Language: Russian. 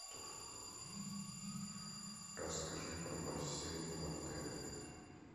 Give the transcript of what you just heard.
расскажи про бассейн в отеле